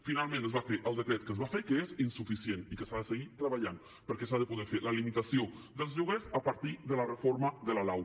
finalment es va fer el decret que es va fer que és insuficient i que s’ha de seguir treballant perquè s’ha de poder fer la limitació dels lloguers a partir de la reforma de la lau